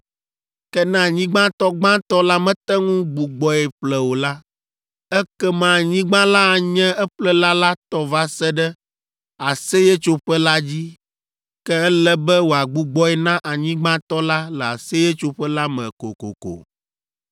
Ke ne anyigbatɔ gbãtɔ la mete ŋu gbugbɔe ƒle o la, ekema anyigba la anye eƒlela la tɔ va se ɖe Aseyetsoƒe la dzi. Ke ele be wòagbugbɔe na anyigbatɔ la le Aseyetsoƒe la me kokoko.